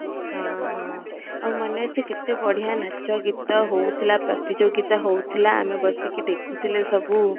ହଁ ହଁ ଆଉ ମନେ ଅଛି କେତେ ବଢ଼ିଆ ନାଚ ଗୀତ ହୋଉଥିଲା ପ୍ରତିଯୋଗିତା ହୋଉଥିଲା ଆମେ ବସିକି ଦେଖୁ ଥିଲେ ସବୁ